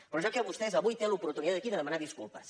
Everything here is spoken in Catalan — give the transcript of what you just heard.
però vostè avui té l’oportunitat aquí de demanar disculpes